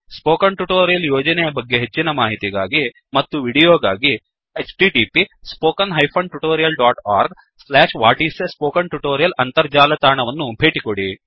spoken tutorial ಯೋಜನೆಯ ಬಗ್ಗೆ ಹೆಚ್ಚಿನ ಮಾಹಿತಿಗಾಗಿ ಮತ್ತು ವೀಡಿಯೋಗಾಗಿ 1 ಅಂತರ್ಜಾಲ ತಾಣವನ್ನು ಭೇಟಿಕೊಡಿ